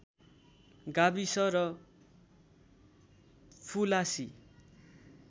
गाविस र फुलासी